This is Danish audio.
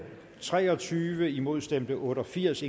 tre og tyve imod stemte otte og firs